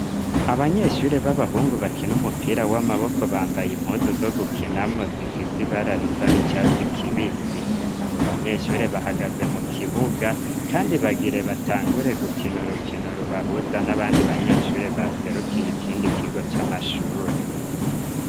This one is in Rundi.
Abanyeshure b'abahungu bakina umupira w'amaboko bambaye impuzu zo gukinamwo zifise ibararisa n'icatsi kibisi abo banyeshure bahagaze mu kibuga, kandi bagire batangure gukino rukino rubahuza n'abandi banyeshuri baserukiye ikindi kigo c'amashure.